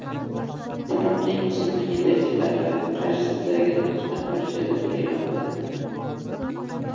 Trampning musulmon yetakchilari qarshisidagi nutqidan parchalar e’lon qilindi.